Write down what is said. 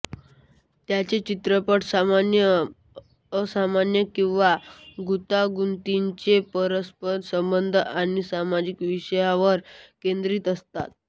त्याचे चित्रपट सामान्यत असामान्य किंवा गुंतागुंतीच्या परस्पर संबंध आणि सामाजिक विषयावर केंद्रित असतात